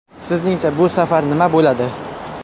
Sizningcha bu safar nima bo‘ladi?